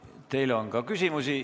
Teile on ka küsimusi.